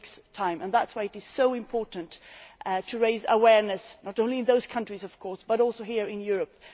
It takes time, and that is why it is so important to raise awareness, not only in those countries, of course, but also here in Europe.